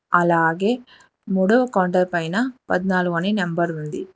అలాగే మూడో కౌంటర్ పైన పద్నాలుగు అని నెంబర్ ఉంది.